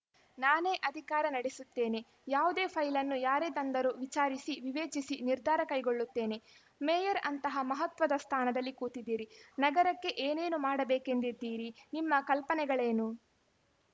ನಾನೇ ಅಧಿಕಾರ ನಡೆಸುತ್ತೇನೆ ಯಾವುದೇ ಫೈಲನ್ನು ಯಾರೇ ತಂದರೂ ವಿಚಾರಿಸಿ ವಿವೇಚಿಸಿ ನಿರ್ಧಾರ ಕೈಗೊಳ್ಳುತ್ತೇನೆ ಮೇಯರ್‌ ಅಂತಹ ಮಹತ್ವದ ಸ್ಥಾನದಲ್ಲಿ ಕೂತಿದೀರಿ ನಗರಕ್ಕೆ ಏನೇನು ಮಾಡಬೇಕೆಂದಿದ್ದೀರಿ ನಿಮ್ಮ ಕಲ್ಪನೆಗಳೇನು